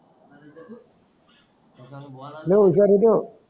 लय हुशार होतो